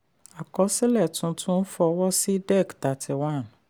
àkọsílẹ̀ tuntun fọwọ́ sí dec thirty one.